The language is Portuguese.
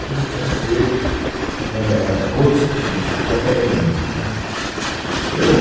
O túnel tinha que ser éh no outro sentido, no sentido da Faria Lima, né eu